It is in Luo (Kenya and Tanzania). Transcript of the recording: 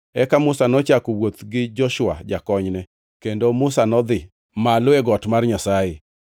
Eka Musa nochako wuoth gi Joshua jakonyne, kendo Musa nodhi malo e got mar Nyasaye.